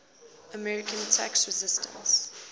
american tax resisters